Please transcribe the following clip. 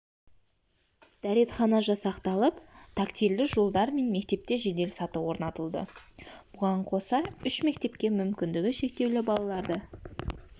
дәретхана жасақталып тактильді жолдар мен мектепте жеделсаты орнатылды бұған қоса үш мектепке мүмкіндігі шектеулі балаларды